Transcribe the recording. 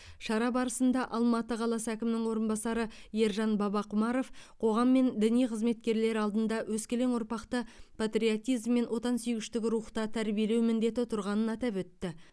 шара барысында алматы қаласы әкімінің орынбасары ержан бабақұмаров қоғам мен діни қызметкерлер алдында өскелең ұрпақты патриотизм мен отансүйгіштік рухта тәрбиелеу міндеті тұрғанын атап өтті